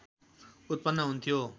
उत्पन्न हुन्थ्यो